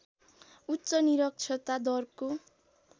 उच्च निरक्षरता दरको